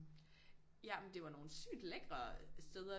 Ja men det var nogle sygt lækre steder